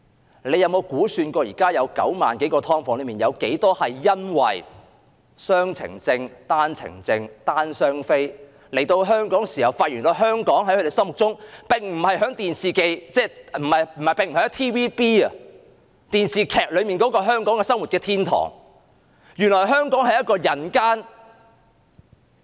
政府有否計算現時9萬多個"劏房"中，有多少是因為雙程證、單程證、"單/雙非"來港後，發現原來香港並不如他們心目中所想，也不如 TVB 電視劇所看到般是一個生活天堂，而是一個人間煉獄。